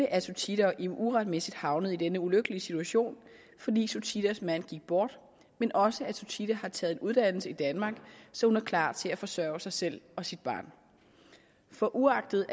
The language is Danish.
at suthida og im uretmæssigt er havnet i denne ulykkelige situation fordi suthidas mand gik bort men også at suthida har taget en uddannelse i danmark så hun er klar til at forsøge sig selv og sit barn for uagtet